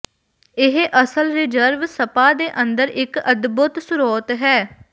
ਇਹ ਅਸਲ reserve spa ਦੇ ਅੰਦਰ ਇੱਕ ਅਦਭੁੱਤ ਸਰੋਤ ਹੈ